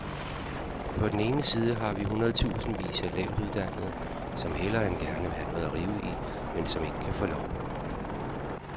På den ene side har vi hundredetusindvis af lavtuddannede, som hellere end gerne vil have noget at rive i, men som ikke kan få lov.